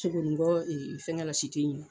Sogoningɔ fɛngɛ la in na.